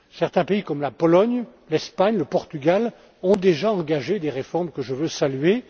Certains pays, comme la Pologne, l'Espagne ou le Portugal, ont déjà engagé des réformes que je veux saluer.